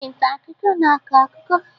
Onye nta akụkọ na-akọ akụkọ.